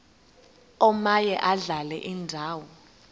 omaye adlale indawo